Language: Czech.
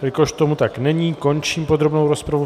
Jelikož tomu tak není, končím podrobnou rozpravu.